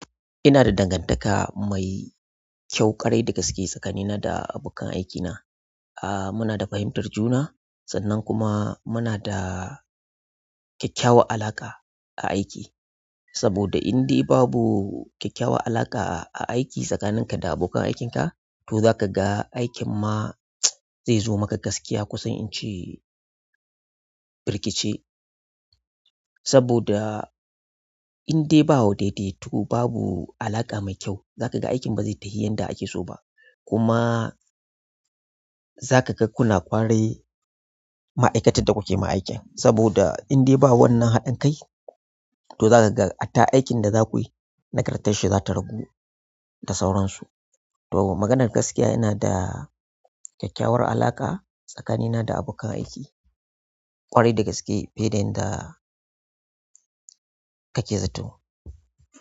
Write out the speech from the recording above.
Ina da dangantaka mai kyau, ƙwarai da gaske tsakanina da abokan aikina. Ah muna da fahimtar juna sannan kuma muna da kyakkyawan alaƙa a aiki. Saboda indai babu kyakkyawan alaƙa a aiki tsakaninka da abokan aikinka to zaka ga aikin ma zai zo maka gaskiya kusan ince birkice. Saboda indai ba wadaidaitu, babu alaƙa mai kyau, zaka ga aikin ba zai tashi yanda ake so ba. Kuma zaka ga kuna kwarai ma'aikatar da kuke ma aikin. Saboda indai ba wannan haɗin kai to zaka ga hatta aikin da zaku yi nagartar shi za ta ragu da sauransu. To maganar gaskiya ina da kyakkyawar alaƙa tsakanina da abokan aiki, ƙwarai da gaske fiye da inda kake zato.